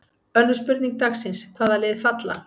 Önnur spurning dagsins: Hvaða lið falla?